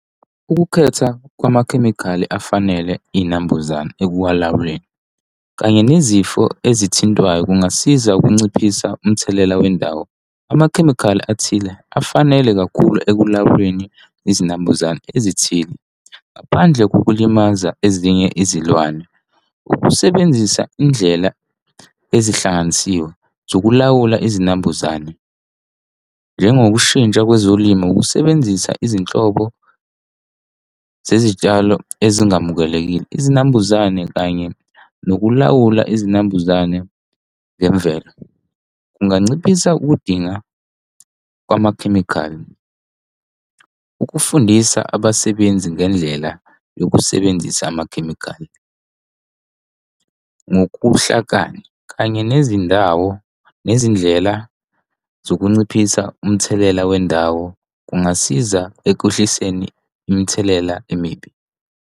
Ukukhetha kwamakhemikhali afanele iy'nambuzane ekulawuleni kanye nezifo ezithintwayo kungasiza ukunciphisa umthelela wendawo. Amakhemikhali athile afanele kakhulu ekulawuleni izinambuzane ezithile ngaphandle kokulimaza ezinye izilwane. Ukusebenzisa indlela ezihlanganisiwe zokulawula izinambuzane njengoshintshwa kwezolimo, kusebenzisa izinhlobo zezitshalo ezingamukelekile, izinambuzane kanye nokulawula izinambuzane ngemvelo kunganciphisa ukudinga kwamakhemikhali, ukufundisa abasebenzi ngendlela yokusebenzisa amakhemikhali ngokuhlakani kanye nezindawo nezindlela zokunciphisa umthelela wendawo, kungasiza ekwehliseni imithelela emibi.